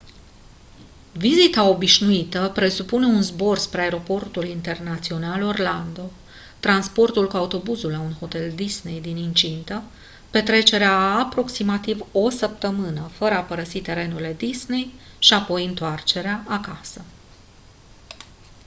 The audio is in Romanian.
vizita «obișnuită» presupune un zbor spre aeroportul internațional orlando transportul cu autobuzul la un hotel disney din incintă petrecerea a aproximativ o săptămână fără a părăsi terenurile disney și apoi întoarcerea acasă.